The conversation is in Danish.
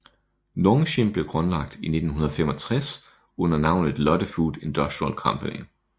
Nongshim blev grundlagt i 1965 under navnet Lotte Food Industrial Company